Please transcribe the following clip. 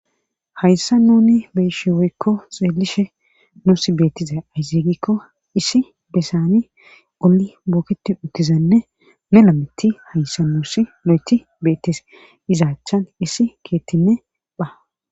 hayssa nuni beeshi woykko xeelishe nuus beettiza ayzigikko issi besani oli booketi uttizanne melametti hayssa nuusi lo7eti beettes izaachan issi keettinne bha